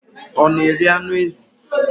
Ọ na-eri anụ ezi?